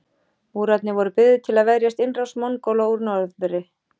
Múrarnir voru byggðir til að verjast innrás Mongóla úr norðri.